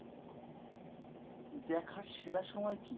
দেখার সেরা সময় কী?